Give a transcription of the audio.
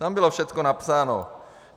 Tam bylo všecko napsáno.